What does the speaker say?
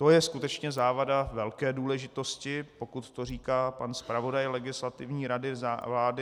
To je skutečně závada velké důležitosti, pokud to říká pan zpravodaj Legislativní rady vlády.